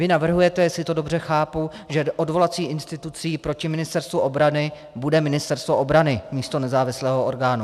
Vy navrhujete, jestli to dobře chápu, že odvolací institucí proti Ministerstvu obrany bude Ministerstvo obrany místo nezávislého orgánu.